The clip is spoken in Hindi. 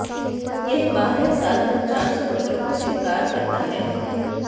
यह बारह साल तक चार से बच्चों को स्वीकार करता है